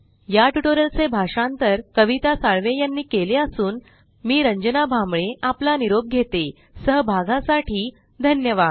या ट्यूटोरियल चे भाषांतर कविता साळवे यानी केले असून मी रंजना भांबळे आपला निरोप घेते सहभागासाठी धन्यवाद